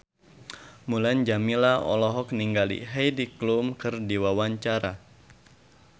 Mulan Jameela olohok ningali Heidi Klum keur diwawancara